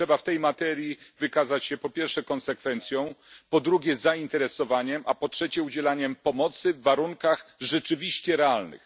Trzeba w tej materii wykazać się po pierwsze konsekwencją, po drugie zainteresowaniem, a po trzecie gotowością do udzielania pomocy w warunkach rzeczywiście realnych.